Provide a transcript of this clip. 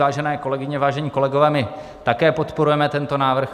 Vážené kolegyně, vážení kolegové, my také podporujeme tento návrh.